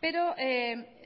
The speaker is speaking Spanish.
pero